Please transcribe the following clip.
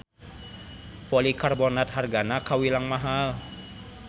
Polikarbonat hargana kawilang mahal.